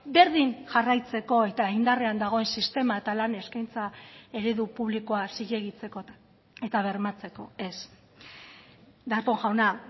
berdin jarraitzeko eta indarrean dagoen sistema eta lan eskaintza eredu publikoa zilegitzekotan eta bermatzeko ez darpón jauna